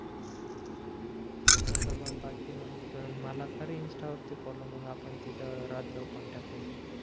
तसं मग बाकी मग मला कर इन्स्टा वरती फॉलो मग आपण तिथं राहत जाऊ कॉन्टॅक्ट मधी